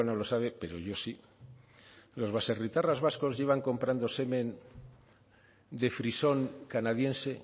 lo sabe pero yo sí los baserritarras vascos llevan comprando semen de frisón canadiense